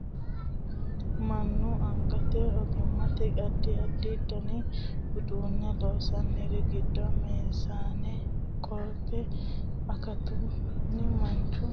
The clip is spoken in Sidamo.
mannu angate ogimmanni addi addi dani uduunne loonsaanori giddo meesane qotto akaafunna marcu baattote loosira horonsi'nanniri no badhensanni hige ko"atte waajjo no